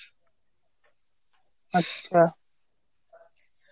আচ্ছা.